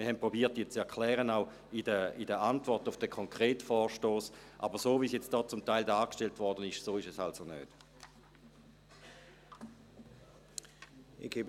Wir haben versucht, diese zu erklären, auch in der Antwort auf den konkreten Vorstoss, aber so, wie es jetzt hier zum Teil dargestellt worden ist, so ist es also nicht. .